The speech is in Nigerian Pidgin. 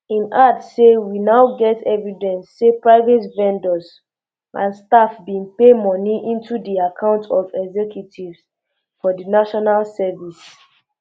im add say we um now get evidence say private vendors and staff bin pay moni into di accounts of executives for di national service